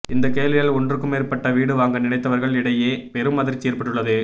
இந்த கேள்வியால் ஒன்றுக்கும் மேற்பட்ட வீடு வாங்க நினைத்தவர்கள் இடையே பெரும் அதிர்ச்சி ஏற்பட்டுள்ளது